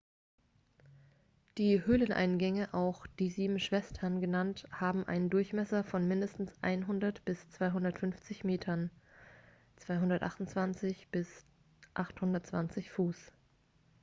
alle höhleneingänge auch die sieben schwestern genannt haben einen durchmesser von mindestens 100 bis 250 metern 328 bis 820 fuß